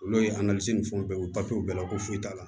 Olu ye ni fɛnw bɛɛ papiyew bɛɛ la ko foyi t'a la